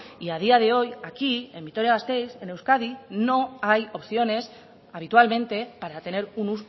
y a día de hoy aquí en vitoria gasteiz en euskadi no hay opciones habitualmente para tener un